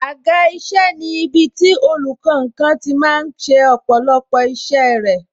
Àga isẹ ni ibiti olùkankan tí máa ń ṣe ọ̀pọ̀lọpọ̀ isẹ rẹ